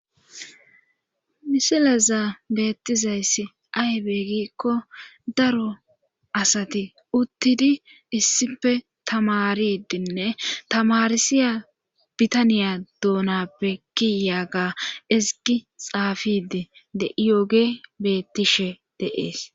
Misileza beettizayssi aybee gikko daro asati uttidi issife tamaridinne tamarsiya bitaniya dounappe kiyaaga izigi xaafidi de7iyooge bettishe deees